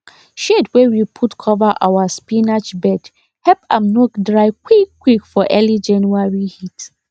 shade wey we put cover our spinach bed help am no dry quickquick for early january heat